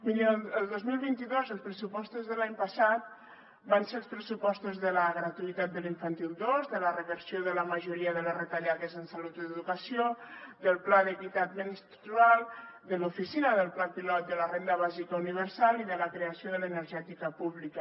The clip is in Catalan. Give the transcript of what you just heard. mirin el dos mil vint dos els pressupostos de l’any passat van ser els pressupostos de la gratuïtat de l’infantil dos de la reversió de la majoria de les retallades en salut o educació del pla d’equitat menstrual de l’oficina del pla pilot per implementar la renda bàsica universal i de la creació de l’energètica pública